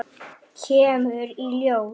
Kemur í ljós!